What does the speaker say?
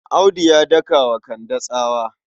Audu ya daka wa Kande tsawa.